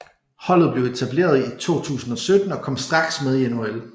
Holdet blev etableret i 2017 og kom straks med i NHL